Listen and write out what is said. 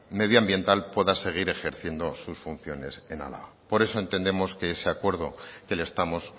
medioambiental pueda seguir ejerciendo sus funciones en álava por eso entendemos que ese acuerdo que le estamos